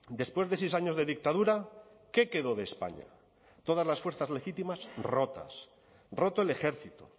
después de seis años de dictadura qué quedó de españa todas las fuerzas legítimas rotas roto el ejército